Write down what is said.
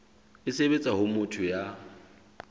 e sebetsa ho motho ya